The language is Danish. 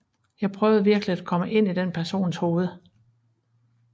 Jeg prøvede virkelig at komme ind i den persons hoved